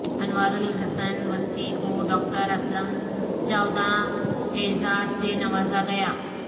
انوارالحسن وسطوی کوڈاکٹر اسلم جاوداں اعزاز سے نوازا گیا